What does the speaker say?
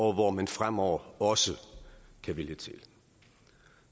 hvor man fremover også kan vælge til